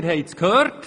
Sie haben es gehört.